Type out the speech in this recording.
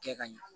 Kɛ ka ɲɛ